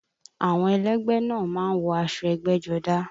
Àwọn ẹlẹ́gbẹ́ náà a máa wọ aṣọ ẹgbẹ́jọdá